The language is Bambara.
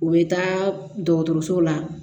U bɛ taa dɔgɔtɔrɔso la